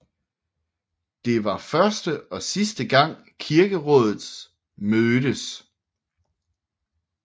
Det var første og sidste gang kirkerådet mødtes